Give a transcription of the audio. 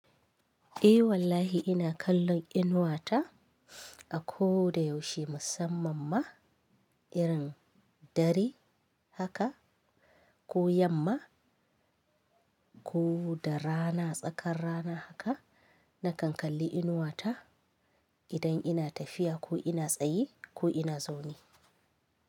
Eh wallahi ina kallon inuwata a koda yaushe musamman ma irin dare haka ko yamma ko da rana tsakar rana haka nakan kalli inuwata idan ina tafiya ko ina tsaye ko ina zaune.